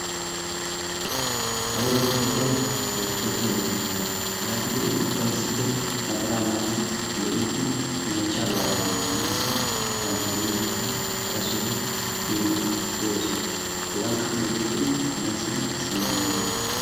Hagee woosa keettay orthodeoxiyaa woosa keettaa. Yaatidi qa eti ubbay issippe naxalaa maayidi lo'iiddi meechchaa baalaa bonchchanaassi bantta de'iyoosaape hara sohuwaa biiddi de'oosona hegaakka meecettidi omarssan simmana de'oosona.